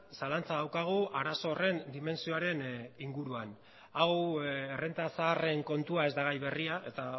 zalantza daukagu arazo horren dimentsioaren inguruan hau errenta zaharren kontua ez da gai berria eta